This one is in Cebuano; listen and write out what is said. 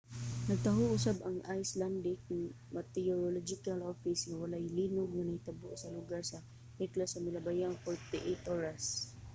nagtaho usab ang icelandic meteorological office nga walay linog nga nahitabo sa lugar sa hekla sa milabayng 48 oras